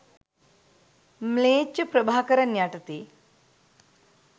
ම්ලේච්ඡ ප්‍රභාකරන් යටතේ